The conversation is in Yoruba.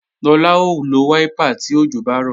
Lọlá ó lo wáípà tí òjò bá rọ̀